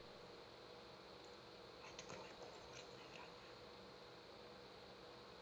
открой курортный роман